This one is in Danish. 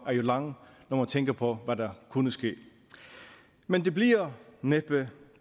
lang når man tænker på hvad der kunne ske men det bliver næppe